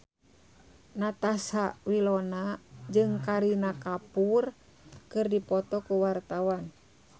Natasha Wilona jeung Kareena Kapoor keur dipoto ku wartawan